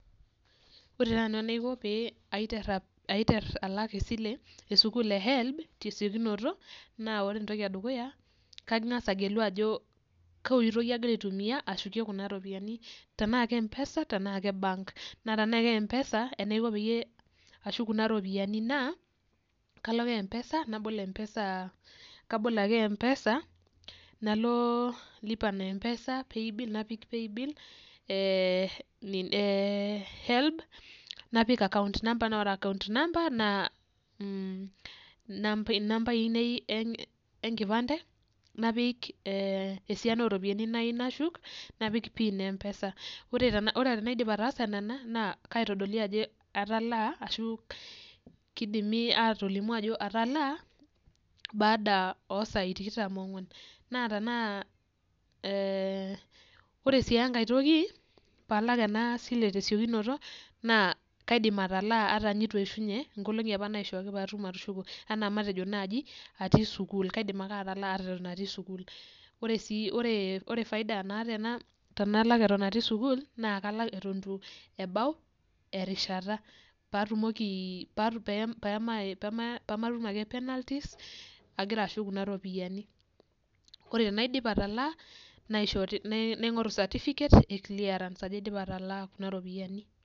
Ore ta nanu enaiko paiter alak esile esukul e HELB tesiokinoto n ore entoki edukuya na kangasa agelu ajo kaotoi agira aitumia ashukie kuna ropiyani tanaa mpesa tanaa ka bank na tanaa ka mpesa tanaiko tanashuk kuna ropiyani na kalo ake mpesa nabol mpesa nalo lipa na mpesa nalo paybill e helb napik account number na nambai ainei enkipande napik esiaina oropiyani nayiau nashuk napik pin e mpesa ore tanadip ataasa ina na kaitodoli ajo atalaaashu kidimi atolimu ajo atalaa naada osai tikitam onguan na tanaa ee ore si enkae toki Palak kunaropiyani tesiokinoto na kaidim ataa ata itueshunye nkolongi naishaa matukushuko ana nai atii sukul kaidim wke atalaa atan atii sukul, ore faida naata tanalak atan atii sukul na kalak atan ituebau erishata patumoki pematm ake penalties agira ashuk kuna ropiyani ore tanaidip atala naingoru certificate e clearance ajo aidipa atalaa.